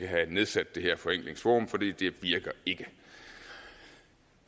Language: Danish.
have nedsat det her forenklingsforum for det virker ikke